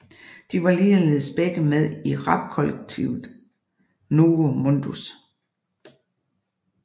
De var ligeledes begge med i rapkollektivet Novo Mundus